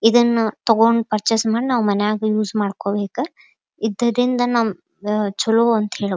ಇದನ್ನ ತಕೊಂಡ್ ಪೂರ್ಚಸ್ ಮಾಡಿ ನಾವು ಮನೆಯಾಗ ಯೂಸ್ ಮಾಡ್ಕೊಬೇಕ ಇದರಿಂದ ನಮಿಗೆ ಚಲೋ ಅಂತ ಹೇಳ್ಬಹುದು.